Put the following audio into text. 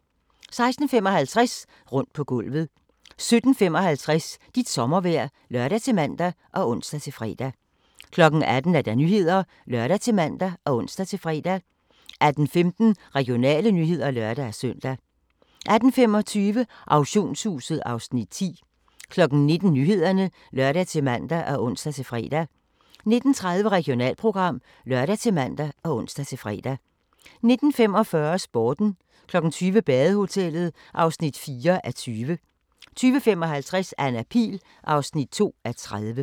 16:55: Rundt på gulvet 17:55: Dit sommervejr (lør-man og ons-fre) 18:00: Nyhederne (lør-man og ons-fre) 18:15: Regionale nyheder (lør-søn) 18:25: Auktionshuset (Afs. 10) 19:00: Nyhederne (lør-man og ons-fre) 19:30: Regionalprogram (lør-man og ons-fre) 19:45: Sporten 20:00: Badehotellet (4:20) 20:55: Anna Pihl (2:30)